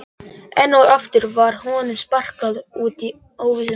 Enn og aftur var honum sparkað út í óvissuna.